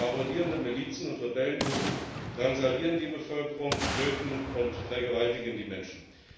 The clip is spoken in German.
Aber marodierende Milizen und Rebellengruppen drangsalieren die Bevölkerung, töten und vergewaltigen die Menschen.